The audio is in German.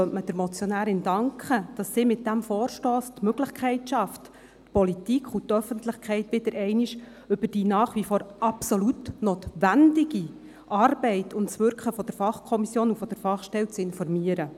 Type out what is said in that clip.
Man könnte der Motionärin danken, dass sie mit diesem Vorstoss die Möglichkeit geschaffen hat, die Politik und die Öffentlichkeit wieder einmal über die nach wie vor absolut notwendige Arbeit und das Wirken von Fachkommission und Fachstelle zu informieren.